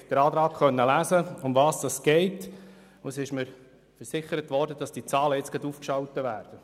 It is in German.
Sie konnten den Antrag lesen, und es wurde mir versichert, dass die Zahlen sogleich aufgeschaltet werden.